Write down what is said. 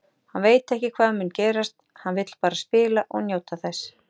Hann veit ekki hvað mun gerast, hann vill bara spila og njóta þess.